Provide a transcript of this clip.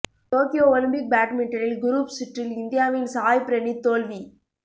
Tokyo Olympic பேட்மிண்டனில் group சுற்றில் இந்தியாவின் சாய் பிரணீத் தோல்வி